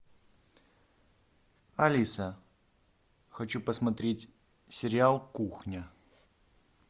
алиса хочу посмотреть сериал кухня